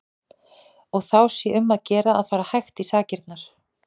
Og þá sé um að gera að fara hægt í sakirnar.